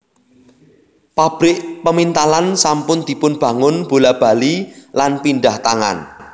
Pabrik pemintalan sampun dipunbangun bola bali lan pindhah tangan